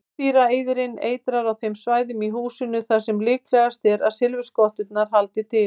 Meindýraeyðirinn eitrar á þeim svæðum í húsinu þar sem líklegast er að silfurskotturnar haldi til.